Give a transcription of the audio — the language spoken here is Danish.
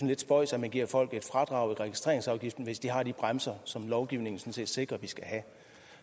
lidt spøjst at man giver folk et fradrag i registreringsafgiften hvis de har de bremser som lovgivningen sådan set sikrer at de skal have